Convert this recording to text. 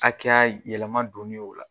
Akɛya yɛlɛma donni o la